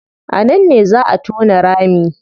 A nan ne zaa a tona rami